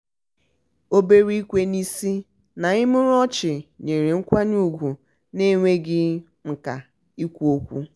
obere ikwe n'isi na imurimu ọchị nyere nkwanye ugwu n'enweghị mka ikwu okwu.